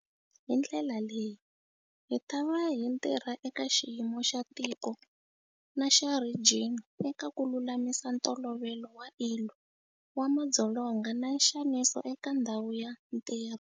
Hi ndlela leyi, hitava hi tirha eka xiyimo xa tiko na xa rhijini eka ku lulamisa Ntolovelo wa ILO wa madzolonga na nxaniso eka ndhawu ya ntirho.